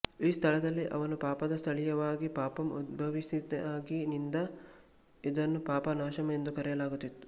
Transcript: ಈ ಸ್ಥಳದಲ್ಲಿ ಅವನ ಪಾಪದ ಸ್ಥಳೀಯವಾಗಿ ಪಾಪಾಮ್ ಉದ್ಭವಿಸಿದಾಗಿನಿಂದ ಇದನ್ನು ಪಾಪನಾಶಂ ಎಂದು ಕರೆಯಲಾಗುತ್ತಿತ್ತು